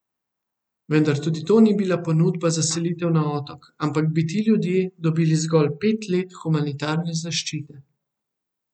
Vendar tudi to ni bila ponudba za selitev na Otok, ampak bi ti ljudje dobili zgolj pet let humanitarne zaščite.